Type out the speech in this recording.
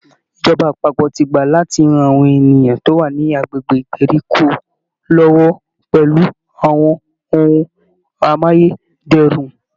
Ìjọba àpapọ̀ ti gbà láti ran àwọn ènìyàn tó wà ní agbègbè ìgbèríko lọ́wọ́ pẹ̀lú àwọn ohun amáyé dẹrùn